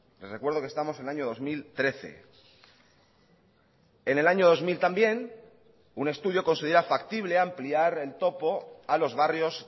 les recuerdo que estamos en el año dos mil trece en el año dos mil también un estudio considera factible ampliar el topo a los barrios